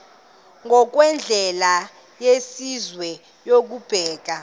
ngokwendlela yesizwe yokubeka